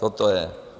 Toto je.